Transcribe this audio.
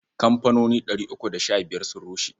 Kamfanoni ɗari uku da sha biyar sun rushe.